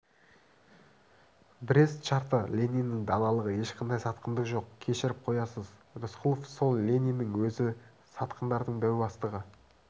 брест шарты лениннің даналығы ешқандай сатқындық жоқ кешіріп қоясыз рысқұлов сол лениннің өзі сатқындардың дәу бастығы